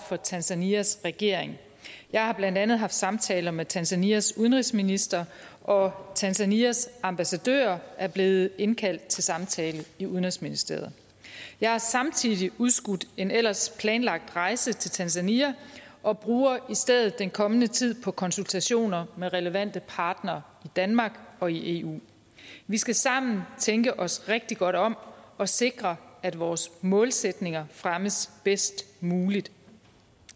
for tanzanias regering jeg har blandt andet haft samtaler med tanzanias udenrigsminister og tanzanias ambassadør er blevet indkaldt til samtale i udenrigsministeriet jeg har samtidig udskudt en ellers planlagt rejse til tanzania og bruger i stedet den kommende tid på konsultationer med relevante partnere i danmark og i eu vi skal sammen tænke os rigtig godt om og sikre at vores målsætninger fremmes bedst muligt